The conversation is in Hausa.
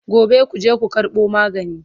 Gobe kuje ku karɓo magani!